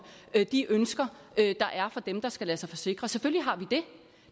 de ønsker der er fra dem der skal lade sig forsikre selvfølgelig har vi det